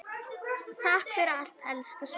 Takk fyrir allt, elsku Svenni.